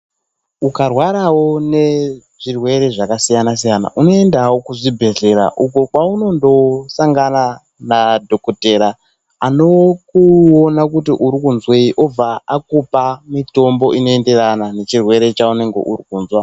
Ukarwaravo nezvirwere zvakasiyana siyana unoendavo kuzvibhehlera uko kwaunondosangana nadhokodheya anokuona kuti urikuzweyi okupa mutombo unoenderana nechirwere chaunenge urikuzwa.